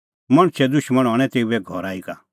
मणछे दुशमण हणैं तेऊए घरा ई का